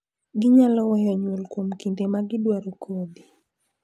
Ginyalo weyo nyuol kuom kinde ma gidwaro kodhi.